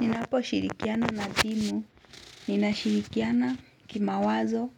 Ninaposhirikiana na timu, ninashirikiana kimawazo,